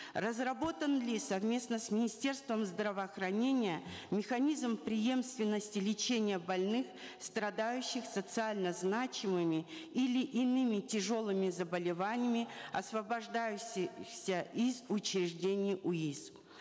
разработан ли совместно с министерством здравоохранения механизм преемственности лечения больных страдающих социально значимыми или иными тяжелыми заболеваниями из учреждений уис